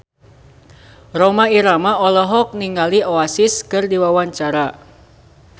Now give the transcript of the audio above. Rhoma Irama olohok ningali Oasis keur diwawancara